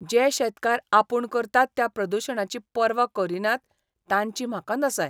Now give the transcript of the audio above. जे शेतकार आपूण करतात त्या प्रदुशणाची पर्वा करिनात तांची म्हाका नसाय.